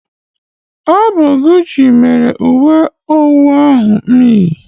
Ọ bụ Guchi mere uwe owu ahụ m yi.